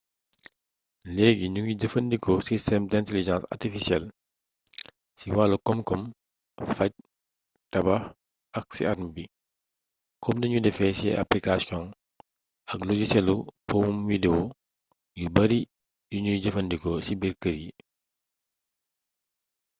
leegi ñu ngi jëfandikoo système d'intelligence artificielle ci wàllu koom-koom faj tabax ak ci arme bi kom ni ñu defee ci aplikaasioŋ ak logiselu powum wideo yu bari yu ñuy jëfandikoo ci biir kër yi